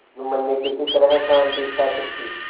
जुम्मन ने किसी तरह शांति स्थापित की